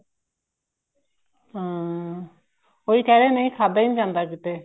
ਹਾਂ ਉਹੀ ਕਹਿ ਰਹੇ ਹਾਂ ਖਾਧਾ ਨੀ ਜਾਂਦਾ